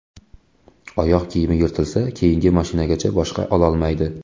Oyoq kiyimi yirtilsa, keyingi maoshigacha boshqa ololmaydi.